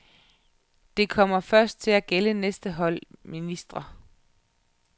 Det kommer først til at gælde næste hold ministre.